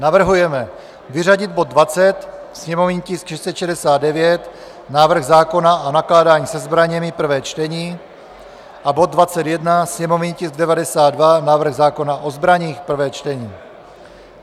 Navrhujeme vyřadit bod 20, sněmovní tisk 669 - návrh zákona o nakládání se zbraněmi, prvé čtení, a bod 21, sněmovní tisk 92 - návrh zákona o zbraních, prvé čtení.